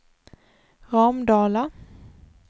Ramdala